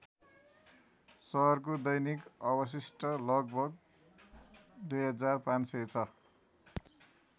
सहरको दैनिक अवशिष्ट लगभग २५०० छ ।